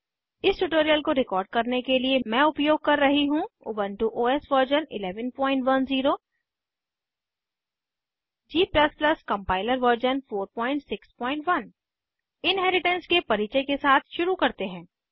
इस ट्यूटोरियल को रिकॉर्ड करने के लिए मैं उपयोग कर रही हूँ Ubuntu OS version 1110 g compiler version 461 inheritance के परिचय के साथ शुरू करते हैं